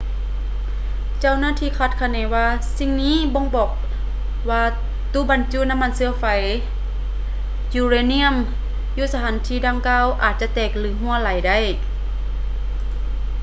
ເຈົ້າໜ້າທີ່ຄາດຄະເນວ່າສິ່ງນີ້ບົ່ງບອກວ່າຕູ້ບັນຈຸນ້ຳມັນເຊື້ອໄຟຢູເຣນຽມຢູ່ສະຖານທີ່ດັ່ງກ່າວອາດຈະແຕກ ແລະ ຮົ່ວໄຫຼ່ໄດ້